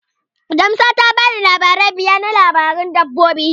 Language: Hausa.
Jamsa ta bani misalai biyar na labaran dabbobi.